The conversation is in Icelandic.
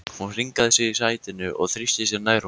Hún hringaði sig í sætinu og þrýsti sér nær honum.